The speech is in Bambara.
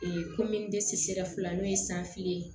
komi dɛsɛr fila n'o ye san fila ye